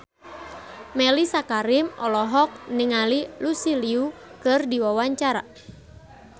Mellisa Karim olohok ningali Lucy Liu keur diwawancara